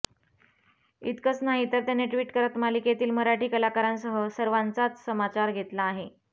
इतकंच नाही तर त्यांनी ट्विट करत मालिकेतील मराठी कलाकारांसह सर्वांचाच समाचार घेतला आहे